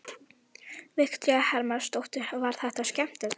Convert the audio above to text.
Viktoría Hermannsdóttir: Var þetta skemmtilegt?